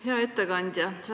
Hea ettekandja!